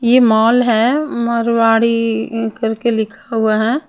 ये मॉल है मारवाड़ी करके लिखा हुआ है।